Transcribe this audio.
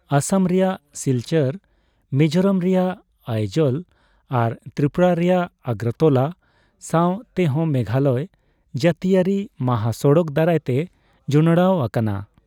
ᱟᱥᱟᱢ ᱨᱮᱭᱟᱜ ᱥᱤᱞᱪᱚᱨ, ᱢᱤᱡᱳᱨᱟᱢ ᱨᱮᱭᱟᱜ ᱟᱭᱡᱚᱞ ᱟᱨ ᱛᱨᱤᱯᱩᱨᱟ ᱨᱮᱭᱟᱜ ᱟᱜᱚᱨᱛᱚᱞᱟ ᱥᱟᱣ ᱛᱮᱦᱚᱸ ᱢᱮᱜᱷᱟᱞᱚᱭ ᱡᱟᱹᱛᱤᱭᱟᱹᱨᱤ ᱢᱟᱦᱟᱥᱚᱲᱚᱠ ᱫᱟᱨᱟᱭ ᱛᱮ ᱡᱚᱱᱚᱲᱟᱣ ᱟᱠᱟᱱᱟ ᱾